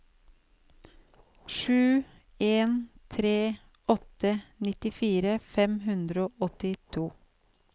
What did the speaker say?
sju en tre åtte nittifire fem hundre og åttito